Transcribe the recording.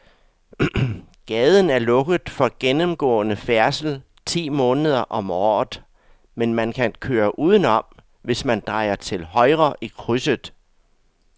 Gaden er lukket for gennemgående færdsel ti måneder om året, men man kan køre udenom, hvis man drejer til højre i krydset.